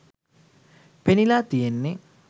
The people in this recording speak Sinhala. පෙනිලා තියෙන්නෙ